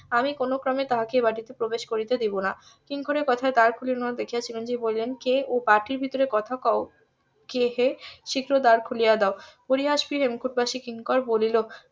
আমি কোনো ক্রমে তাহাকে এই বাটিতে প্রবেশ করতে দেব না কিঙ্করের কথাই . যে বলিলেন কে ও বাটির ভেতরে কথা কউ কে হে শীঘ্র দ্বার খুলিয়া দাও পরিহাস . হেমকুট বাসী কিঙ্কর বলিল